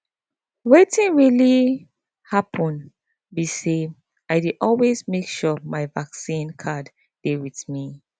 wetin really happen be say i dey always make sure say my vaccine card dey with me